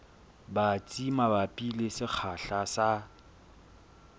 batsi mabapi le sekgahla sa